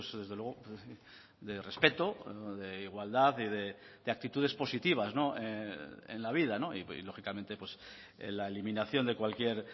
desde luego de respeto de igualdad de actitudes positivas en la vida y lógicamente la eliminación de cualquier